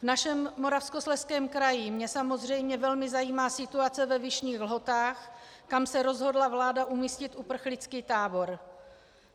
V našem Moravskoslezském kraji mě samozřejmě velmi zajímá situace ve Vyšných Lhotách, kam se rozhodla vláda umístit uprchlický tábor.